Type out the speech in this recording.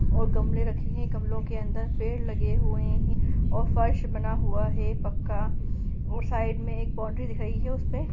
--और गमले रखे है गमलो के अंदर पेड़ लगे हुए है और फर्श बना हुआ है ए पक्का और साइड में एक बॉउंड्री दिखाई है उसमे--